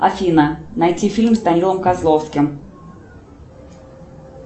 афина найти фильм с данилой козловским